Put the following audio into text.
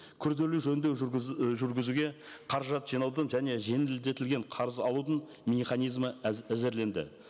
күрделі жөндеу і жүргізуге қаражат жинаудың және жеңілдетілген қарыз алудың механизмі әзірленді